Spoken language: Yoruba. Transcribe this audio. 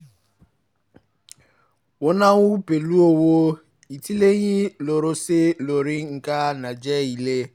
wọ́n náwó pẹ̀lú owó ìtìlẹ́yìn lósọ̀ọ̀sẹ̀ lórí nǹkan tó jẹ ilé